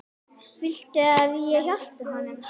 Viltu að ég hjálpi honum?